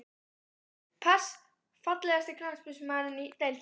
Pass Fallegasti knattspyrnumaðurinn í deildinni?